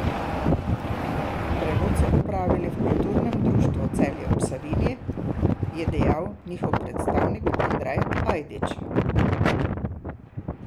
Prevod so opravili v Kulturnem društvu Celje ob Savinji, je dejal njihov predstavnik Andrej Ajdič.